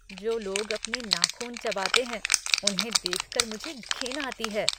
जो लोग अपने नाख़ून चबाते हैं उन्हें देख कर मुझे घिन आती है।